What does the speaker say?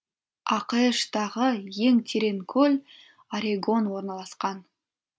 ақш тағы ең терең көл орегон орналасқан